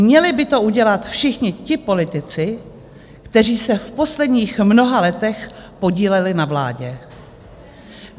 Měli by to udělat všichni ti politici, kteří se v posledních mnoha letech podíleli na vládě.